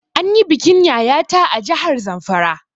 An yi bikin Yaya ta a jahar Zamfara